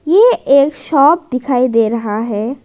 ये एक शॉप दिखाई दे रहा है।